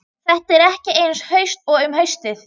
Þetta er ekki eins haust og um haustið.